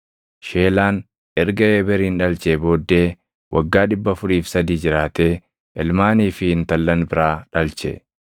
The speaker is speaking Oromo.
Sheelaan erga Eeberin dhalchee booddee waggaa 403 jiraatee ilmaanii fi intallan biraa dhalche.